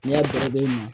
N'i y'a baro i ma